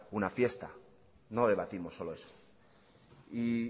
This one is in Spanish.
una fiesta no debatimos solo eso y